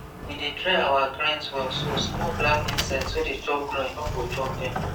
we dey dry our grains well so small black insect wey dey chop grain no go chop dem